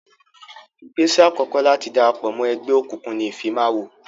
Ìgbésẹ̀ àkọ́kọ́ láti darapọ̀ mọ́ ẹgbẹ́ òkùnkùn ni ìfimawo.